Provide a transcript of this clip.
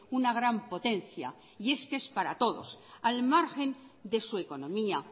una gran potencia y es que es para todos al margen de su economía